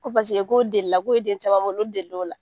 Ko k'o delila k'o ye den caman wolo k'o delila o la